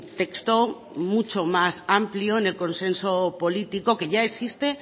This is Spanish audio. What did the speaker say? texto mucho más amplio en el consenso político que ya existe